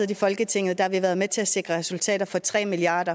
i folketinget har vi været med til at sikre resultater for tre milliard